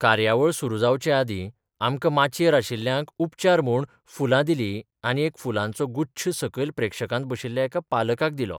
कार्यावळ सुरु जावचे आदीं आमकां माचयेर आशिल्ल्यांक उपचार म्हूण फुलां दिलीं आनी एक फुलांचो गुच्छ सकयल प्रेक्षकांत बशिल्ल्या एका पालकाक दिलो.